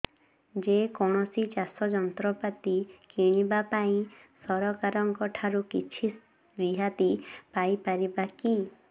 ଯେ କୌଣସି ଚାଷ ଯନ୍ତ୍ରପାତି କିଣିବା ପାଇଁ ସରକାରଙ୍କ ଠାରୁ କିଛି ରିହାତି ପାଇ ପାରିବା କି